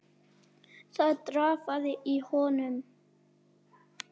Það drafaði í honum.